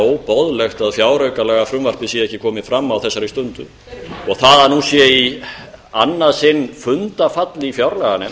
óboðlegt að fjáraukalagafrumvarpið sé ekki komið fram á þessari stundu og það að nú sé í annað sinn fundarfall í fjárlaganefnd